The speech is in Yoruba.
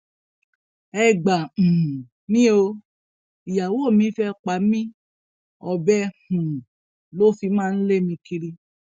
ẹ gbà um mí o ìyàwó mi fẹẹ pa mí ọbẹ um ló fi máa ń lé mi kiri